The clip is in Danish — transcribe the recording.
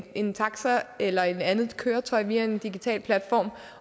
en taxa eller et andet køretøj via en digital platform